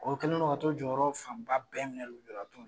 O kɛlen do ka t'o jɔyɔrɔ fanba bɛɛ minɛ lujuratɔw la